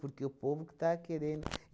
Porque o povo que estava querendo.